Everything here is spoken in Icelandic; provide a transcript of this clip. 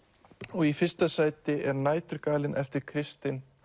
og í fyrsta sæti er næturgalinn eftir Kristin